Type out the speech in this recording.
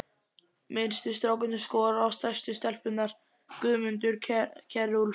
Minnstu strákarnir skora á stærstu stelpurnar: Guðmundur Kjerúlf